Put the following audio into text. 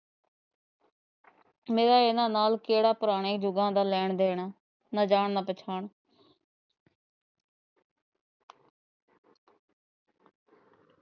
ਮੇਰਾ ਇਹਨਾਂ ਨਾਲ ਕਿਹੜੇ ਪੁਰਾਣੇ ਜੁਗਾਂ ਦਾ ਲੈਣ ਦੇਣ ਆ ਨਾ ਜਾਣ ਨਾ ਪਛਾਣ।